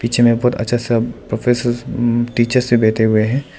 पीछे में बहुत अच्छा सब प्रोफेसर्स टीचर्स ये बैठे हुए हैं।